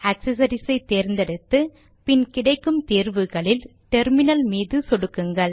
accessories ஐ தேர்ந்தெடுத்து பின் கிடைக்கும் தேர்வுகளில் டெர்மினல் மீது சொடுக்குங்கள்